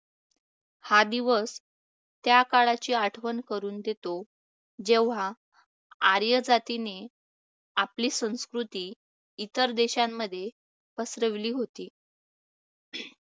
हा दिवस त्या काळाची आठवण करून देतो. जेव्हा आर्यजातीने आपली संस्कृती इतर देशांमध्ये पसरवली होती.